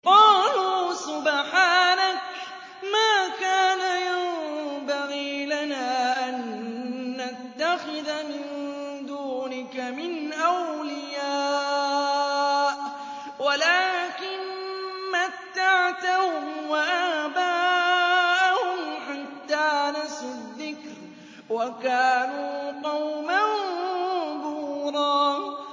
قَالُوا سُبْحَانَكَ مَا كَانَ يَنبَغِي لَنَا أَن نَّتَّخِذَ مِن دُونِكَ مِنْ أَوْلِيَاءَ وَلَٰكِن مَّتَّعْتَهُمْ وَآبَاءَهُمْ حَتَّىٰ نَسُوا الذِّكْرَ وَكَانُوا قَوْمًا بُورًا